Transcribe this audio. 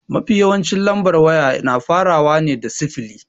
Mafi yawancin lambar waya na farawa ne da sifili.